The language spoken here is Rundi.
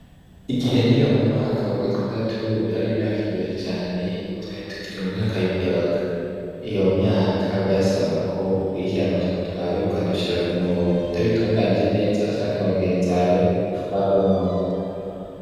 Igihe niga mu mwaka wa gatandatu yari imyaka iryoshe cane nubwo twari tukiri mu myaka y'ubuyabaga. Iyo myaka vyasaba ko ukurikirana utuntu twawe ukadushira ku murongo utabitunganije neza wasanga bagenzawe baguhonoye.